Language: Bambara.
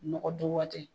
Nɔgɔ dun waati